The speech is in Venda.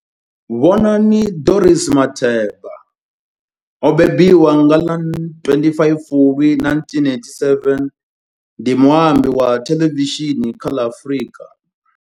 Bonang Dorothy Matheba o mbembiwa nga ḽa 25 Fulwi 1987, ndi muambi wa thelevishini kha ḽa Afrika.